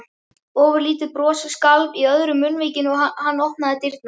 Ofurlítið bros skalf í öðru munnvikinu og hann opnaði dyrnar.